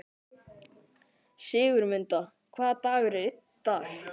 Sigurmunda, hvaða dagur er í dag?